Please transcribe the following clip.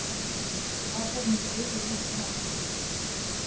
Aparnir þrír eru úti um allt.